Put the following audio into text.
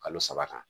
Kalo saba kan